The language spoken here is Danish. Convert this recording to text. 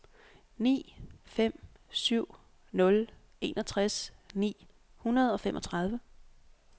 ni fem syv nul enogtres ni hundrede og femogtredive